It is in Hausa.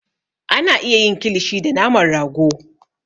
A na iya yin kilishi da naman rago